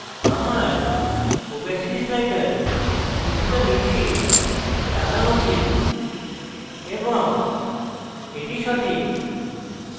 আমার opacity slider কিছুটা নীচে টানা উচিত এবং এটি সঠিক